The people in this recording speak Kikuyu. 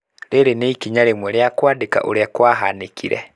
Rĩrĩ nĩ ikinya rĩmwe rĩa kwandĩka ũrĩa kwahanĩkire.